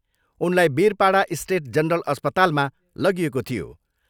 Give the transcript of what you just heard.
उनलाई Birpara state general अस्पतालमा लगिएको थियो।